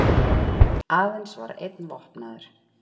Aðeins einn var vopnaður